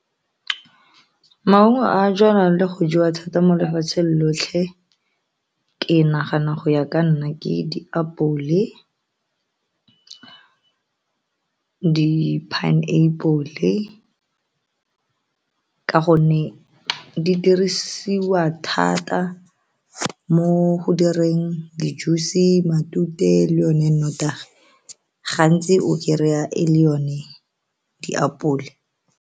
Maungo a jalwang le go jewa thata mo lefatshe lotlhe ke nagana go ya ka nna ke diapole, di-pineapple ka gonne di dirisiwa thata mo go direng di-juice matute le yone notagi gantsi o kry-a e le yone diapole.